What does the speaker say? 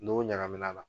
N'o ɲagamina na